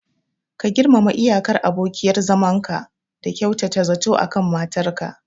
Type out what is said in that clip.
Ka girmama iyakar abokiyar zamanka da kyautata zato akan matar ka.